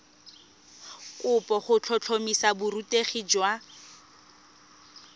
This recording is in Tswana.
kopo go tlhotlhomisa borutegi jwa